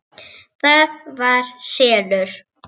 ÞAÐ VAR SELUR!